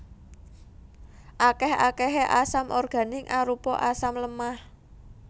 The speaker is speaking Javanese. Akèh akèhé asam organik arupa asam lemah